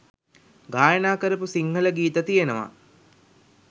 ගායනා කරපු සිංහල ගීත තියෙනවා.